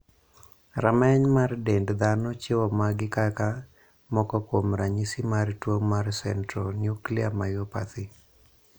Rameny mar dend dhano chiwo magi kaka moko kuom ranyisi mar tuo mar Centronuclear myopathy.